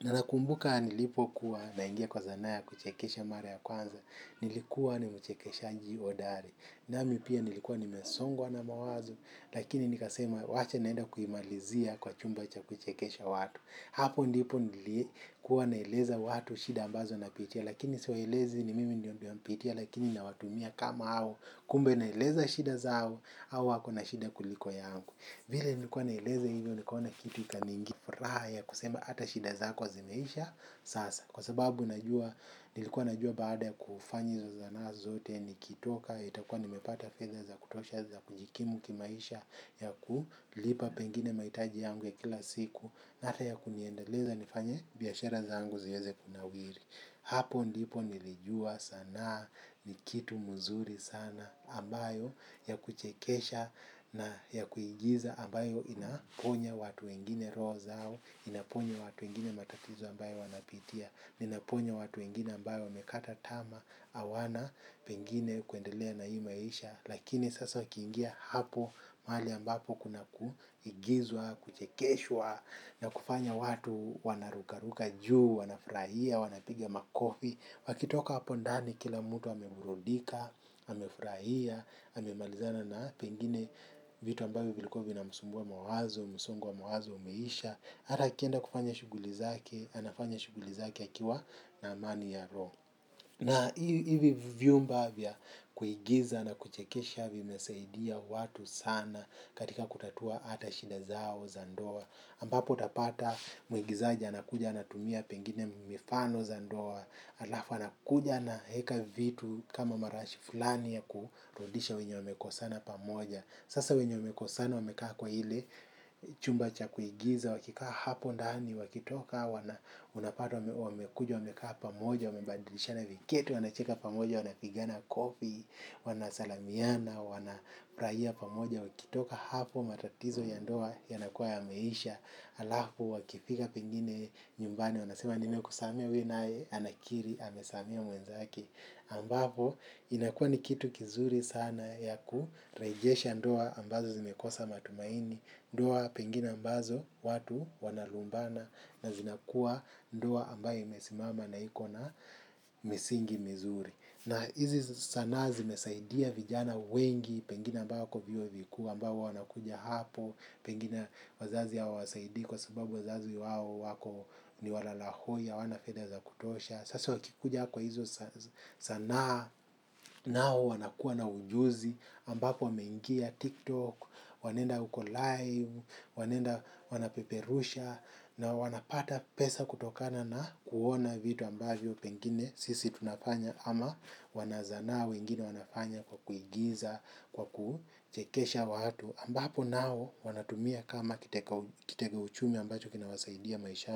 Nana kumbuka nilipo kuwa naingia kwa sana ya kuchekesha mara ya kwanza, nilikuwa nimchekeshaji hodari. Nami pia nilikuwa nimesongwa na mawazo, lakini nikasema wacha naenda kuhimalizia kwa chumba cha kuchekesha watu. Hapo ndipo nilikuwa naeleza watu shida ambazo napitia, lakini siwaelezi ni mimi ndio napitia, lakini na watumia kama hao, kumbe naeleza shida zangu, au wako na shida kuliko yangu. Vile nilikuwa naeleza hivyo nikaona kitu ikaniingia furaha ya kusema ata shida zako zimeisha sasa. Kwa sababu nilikuwa najua baada ya kufanya hizo zana zote nikitoka nitakuwa nimepata fedha zakutosha za kujikimu kimaisha ya kulipa pengine mahitaji yangu ya kila siku hata ya kuniendeleza nifanye biashara zangu ziweze kunawiri. Mimi napenda mchezo wa kuigiza na kuchekesha sana. Na ya kuigiza ambayo inaponya watu wengine roho zao, inaponya watu wengine matatizo ambayo wanapitia, inaponya watu wengine ambao wamekata tamaa hawana pengine kuendelea na hii maisha. Lakini sasa ikiingia hapo mahali ambapo kuna kuigizwa, kuchekeshwa na kufanya watu wana ruka ruka juu, wanafurahia, wanapiga makofi. Wakitoka hapo ndani kila mtu ameburudika, amefurahia, amemalizana na pengine vitu ambavyo vilikuwa zinamsumbua mawazo, msongo wa mawazo, umeisha. Hata akienda kufanya shughuli zake, anafanya shughuli zake akiwa na amani ya roho. Na hivi vyumba vya kuigiza na kuchekesha vimesaidia watu sana katika kutatua ata shinda zao za ndoa. Ampapo utapata mwigizaji anakuja anatumia pengine mifano za ndoa. Alafu anakuja naweka vitu kama marashi fulani ya kurudisha wenye wamekosana pamoja. Sasa wenye wamekosana wamekaa kwa ile chumba cha kuigiza wakikaa hapo ndani wakitoka wana unapata wamekuja wamekaa pamoja. Wamebadilishana viketi, wanacheka pamoja, wana pigana kofi, wanasalamiana, wana furahia pamoja, wakitoka hapo matatizo ya ndoa yanakuwa yameisha, alafu wakifika pengine nyumbani, wanasema nime kusamehea huyo nae anakiri, amesamea mwenzake, ambapo inakuwa ni kitu kizuri sana ya kurejesha ndoa ambazo zimekosa matumaini, ndoa pengine ambazo watu wanalumbana, na zinakua ndoa ambayo imesimama na ikona misingi mizuri. Na hizi sana zimesaidia vijana wengi pengine ambayo wako vyuo vikuu ambao huwa wanakuja hapo, pengine wazazi hawa wasaidi kwa sababu wazazi wao wako ni walala hoi, hawana fedha za kutosha. Sasa wakikuja kwa hizo zana nao wanakuwa na ujuzi ambapo wameingia tiktok, wanaenda uko live, wanaenda wanapeperusha na wanapata pesa kutokana na kuona vitu ambavyo pengine sisi tunafanya ama wanazana wengine wanafanya kwa kuigiza, kwa kuchekesha watu ambapo nao wanatumia kama kiteka uchumi ambacho kinawasaidia maishani.